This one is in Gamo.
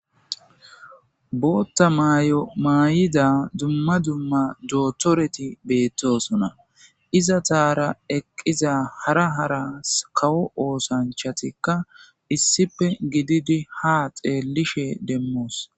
bootta maay7o maay7ida dumma dumma jootoreti beettosona iza taara eqqiza hara haras kawo oosanchatikka issipe gididi ha xeellishe demmoos